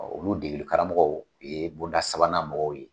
Ɔɔ olu degeli karamɔgɔw ye bonda sabanan mɔgɔw ye.